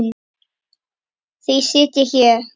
Því sit ég hér.